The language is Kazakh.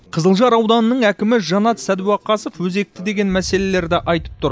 қызылжар ауданының әкімі жанат сәдуақасов өзекті деген мәселелерді айтып тұр